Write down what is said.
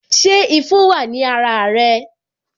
Ṣé ifo wa ní ara rẹ